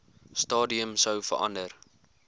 stadium sou verander